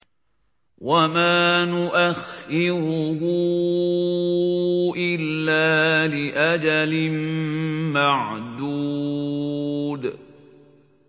وَمَا نُؤَخِّرُهُ إِلَّا لِأَجَلٍ مَّعْدُودٍ